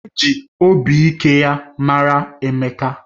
Emeka ji obi ike mara ya